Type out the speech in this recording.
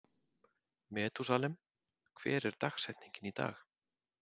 Methúsalem, hver er dagsetningin í dag?